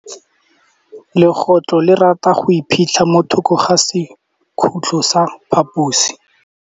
Legôtlô le rata go iphitlha mo thokô ga sekhutlo sa phaposi.